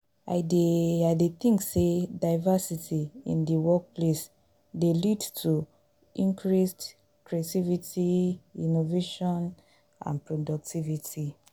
i dey i dey think say diversity in di workplace dey lead to increased creativity innovation and productivity.